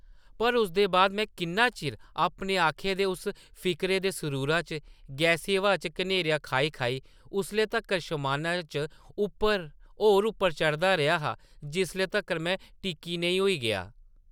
पर उसदे बाद में किन्ना चिर अपने आखे दे उस फिकरे दे सरूरा च गैसी हवा च घेरनियां खाई-खाई उसले तक्कर शमाना च उप्पर, होर उप्पर चढ़दा रेहा हा, जिसले तक्कर में टिक्की नेईं होई गेआ ।’’